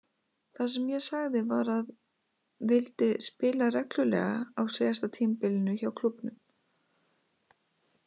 Það sem ég sagði var að vildi spila reglulega á síðasta tímabilinu hjá klúbbnum.